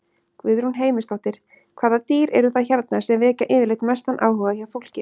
Guðrún Heimisdóttir: Hvaða dýr eru það hérna sem vekja yfirleitt mestan áhuga hjá fólki?